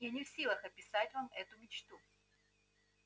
я не в силах описать вам эту мечту